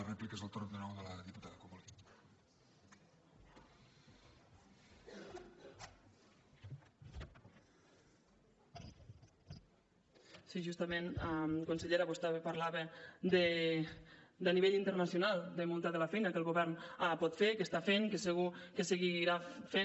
sí justament conseller vostè ara parlava a nivell internacional de molta de la feina que el govern pot fer i que està fent i que segur que seguirà fent